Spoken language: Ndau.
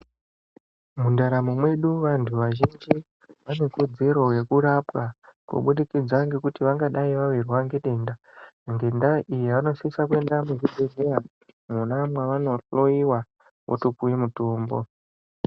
Mundaramo medu vantu vazhinji vane kurudziro yekurapwa kubudikidza ngekuti vangadai vavirwa ngedenda. Ngendaa iyi vanosisa kuenda muzvibhedhleya mwona mwana mwavanohloiwa votopuve mutombo.